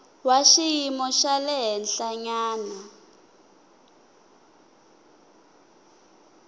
wa xiyimo xa le henhlanyana